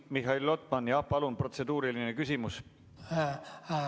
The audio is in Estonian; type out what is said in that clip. Mihhail Lotman, jah, palun, protseduuriline küsimus!